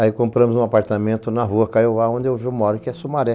Aí compramos um apartamento na rua Caiova, onde eu moro, que é Sumaré.